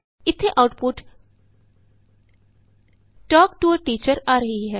ਇਥੇ ਆਉਟਪੁਟ ਤਲਕ to a teacher ਆ ਰਹੀ ਹੈ